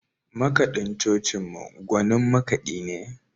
Makaɗin cocinmu gwanin makaɗi ne.